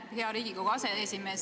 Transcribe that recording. Aitäh, hea Riigikogu aseesimees!